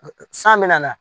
san bina nan